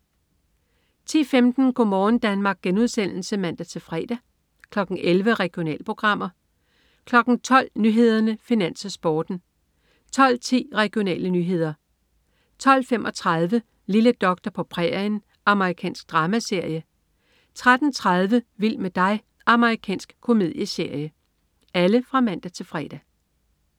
10.15 Go' morgen Danmark* (man-fre) 11.00 Regionalprogrammer (man-fre) 12.00 Nyhederne, Finans, Sporten (man-fre) 12.10 Regionale nyheder (man-fre) 12.35 Lille doktor på prærien. Amerikansk dramaserie (man-fre) 13.30 Vild med dig. Amerikansk komedieserie (man-fre)